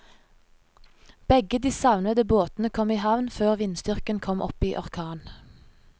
Begge de savnede båtene kom i havn før vindstyrken kom opp i orkan.